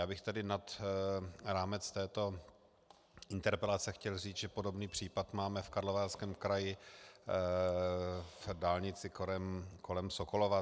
Já bych tedy nad rámec této interpelace chtěl říct, že podobný případ máme v Karlovarském kraji, v dálnici kolem Sokolova.